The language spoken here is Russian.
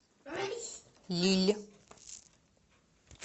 лилль